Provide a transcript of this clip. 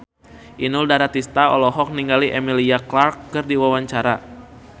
Inul Daratista olohok ningali Emilia Clarke keur diwawancara